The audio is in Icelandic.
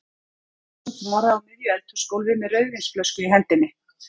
Ég stend eins og þvara á miðju eldhúsgólfi með rauðvínsflösku í hendinni.